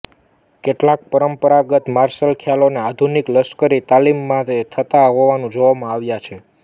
કેટલાક પરંપરાગત માર્શલ ખ્યાલોને આધુનિક લશ્કરી તાલીમમાં થતા હોવાનું જોવામાં આવ્યા છે